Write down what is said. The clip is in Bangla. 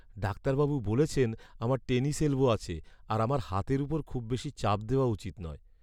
ডাক্তারবাবু বলেছেন আমার টেনিস এলবো আছে আর আমার হাতের উপর খুব বেশি চাপ দেওয়া উচিৎ নয়।